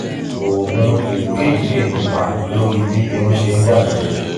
oògùn èyíkéyìí lè nípa lórí bí irun ṣe ń dàgbà